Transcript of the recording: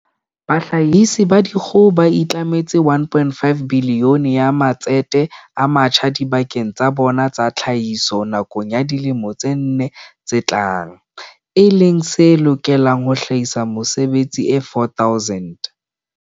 Bahlahisi ba dikgoho ba itlametse R1.5 bilione ya matsete a matjha dibakeng tsa bona tsa tlhahiso nakong ya dilemo tse nne tse tlang, e leng se lokelang ho hlahisa mesebetsi e 4 000.